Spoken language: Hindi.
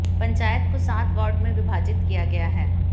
पंचायत को सात वार्ड में विभाजित किया गया है